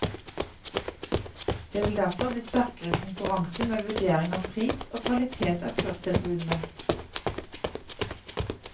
Det vil derfor bli sterkere konkurranse med vurdering av pris og kvalitet av kurstilbudene.